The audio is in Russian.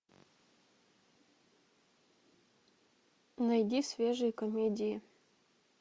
найди свежие комедии